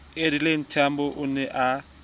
adelaide tambo o ne a